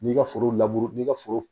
N'i ka foro n'i ka foro